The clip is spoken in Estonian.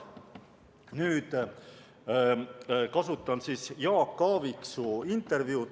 Nüüd kasutan Jaak Aaviksoo intervjuud.